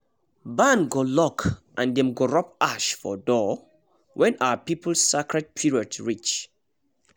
barn go lock and dem go rub ash for door when our people sacred period reach